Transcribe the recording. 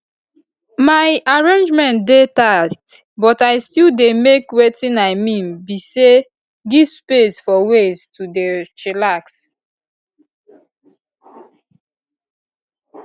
my arrangement dey tight but i still dey make wetin i mean be say give space for ways to dey chillax